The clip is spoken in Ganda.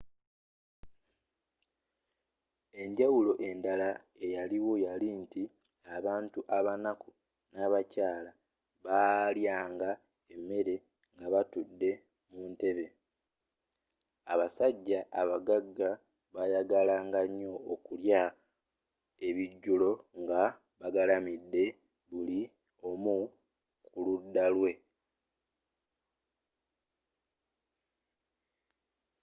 enjawulo endala eyaliwo yali nti abantu abanaku n'abakyala baalyanga emere nga batudde mu ntebe abasajja abagagga bayagalanga nyo okulya ebijjulo nga bagalamidde buli omu ku ludda lwe